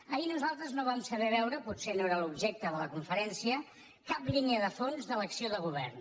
ahir nosaltres no vam saber veure potser no era l’objecte de la conferència cap línia de fons de l’acció de govern